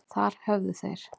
Þar höfðu þeir